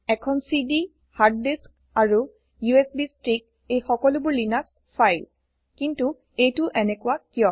এখন CD hard disk আৰু USB stick এই সকলোবোৰ লিনাক্স ফাইল কিন্তু এইটো এনেকোৱা কিয়